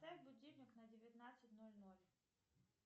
поставь будильник на девятнадцать ноль ноль